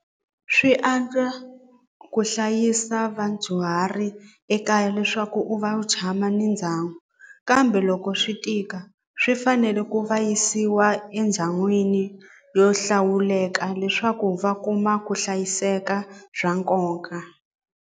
Swi antswa ku hlayisa vadyuhari ekaya leswaku u va u tshama ni ndhawu kambe loko swi tika swi fanele ku va yisiwa endhawini yo hlawuleka leswaku va kuma ku hlayiseka bya nkoka.